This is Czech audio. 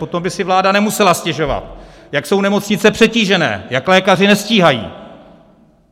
Potom by si vláda nemusela stěžovat, jak jsou nemocnice přetížené, jak lékaři nestíhají.